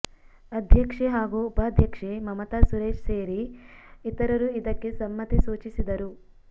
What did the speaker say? ಅಧ್ಯಕ್ಷೆ ಹಾಗೂ ಉಪಾಧ್ಯಕ್ಷೆ ಮಮತಾ ಸುರೇಶ್ ಸೇರಿ ಇತರರು ಇದಕ್ಕೆ ಸಮ್ಮತಿ ಸೂಚಿಸಿದರು